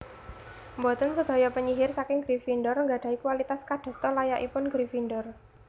Boten sedaya penyihir saking Gryffindor nggadahi kualitas kadasta layakipun Gryffindor